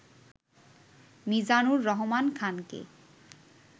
মিজানুর রহমান খানকে